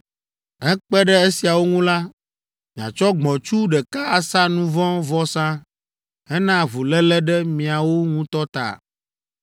Hekpe ɖe esiawo ŋu la, miatsɔ gbɔ̃tsu ɖeka asa nu vɔ̃ vɔsa hena avuléle ɖe miawo ŋutɔ ta.